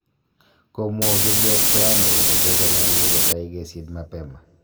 Komwa ogiliot Kayonde kole kochameenyi kotai kesiit mapema